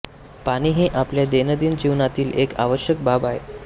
पाणी ही आपल्या दैनंदिन जीवनातील एक आवश्यक बाब आहे